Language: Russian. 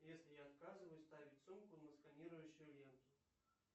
если я отказываюсь ставить сумку на сканирующую ленту